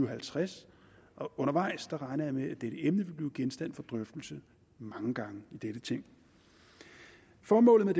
og halvtreds og undervejs regner jeg med dette emne vil blive genstand for drøftelse mange gange i dette ting formålet med